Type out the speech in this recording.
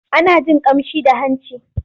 Ana jin ƙamshi da hanci.